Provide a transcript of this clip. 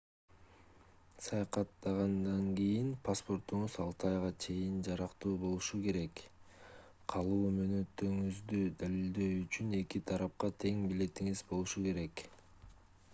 саякаттагандан кийин паспортуңуз 6 айга чейин жарактуу болушу керек калуу мөөнөтүңүздү далилдөө үчүн эки тарапка тең билетиңиз болушу керек